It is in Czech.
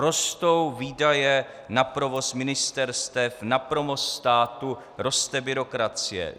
Rostou výdaje na provoz ministerstev, na provoz státu, roste byrokracie.